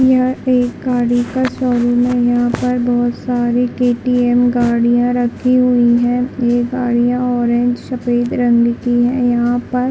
यह एक गाड़ी का शोरूम है यहाँ पर बहुत सारे केटीएम गाड़ियां रखी हुई है ये गाड़ियां ऑरेंज सफ़ेद रंग की है यहाँ पर --